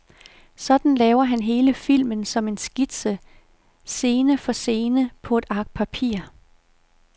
Sådan laver han hele filmen som en skitse, scene for scene, på et ark papir.